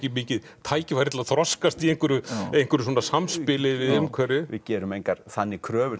mikil tækifæri til að þroskast í einhverju einhverju svona samspili við umhverfið við gerum engar þannig kröfur